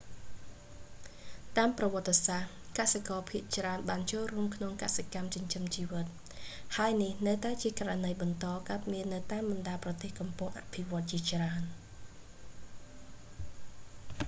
តាមប្រវត្តិសាស្រ្ត កសិករភាគច្រើនបានចូលរួមក្នុងកសិកម្មចិញ្ចឹមជីវិត ហើយនេះនៅតែជាករណីបន្តកើតមាននៅតាមបណ្ដាប្រទេសកំពុងអភិវឌ្ឍជាច្រើន